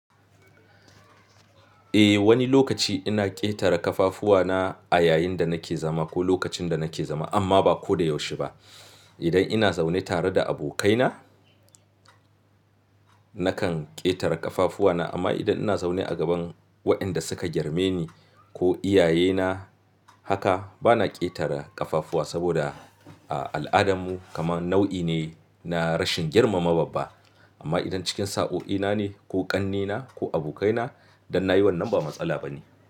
Eh, wani lokaci ina ƙetare ƙafafuwana a yayin da nake zama ko lokacin da nake zama amma ba ko da yaushe ba. Idan ina zaune tare da abokaina, nakan ƙetare ƙafafuwana amma idan ina zaune a gaban waɗanda suka girme ni ko iyayena haka bana ƙetare ƙafafuwa saboda a al'adarmu kaman nau'i ne na rashin girmama babba. Amma idan cikin sa'o'ina ne ko ƙannena ko abokaina dan nayi wannan ba matsala ba ne.